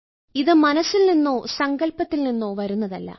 ഇത് മനസ്സിൽ നിന്നോ സങ്കൽപ്പത്തിൽ നിന്നോ വരുന്നതല്ല